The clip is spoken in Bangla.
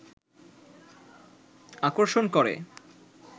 আকর্ষণ করে